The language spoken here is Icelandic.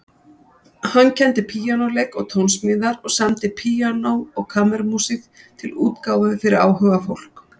Hann kenndi píanóleik og tónsmíðar og samdi píanó- og kammermúsík til útgáfu fyrir áhugafólk.